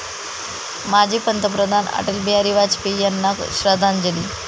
माजी पंतप्रधान अटल बिहारी वाजपेयी यांना श्रद्धांजली